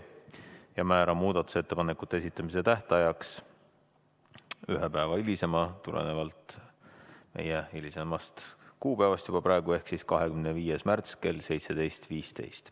Määran muudatusettepanekute esitamise tähtajaks tulenevalt juba meie tänasest kuupäevast ühe päeva võrra hilisema kuupäeva ehk 25. märtsi kell 17.15.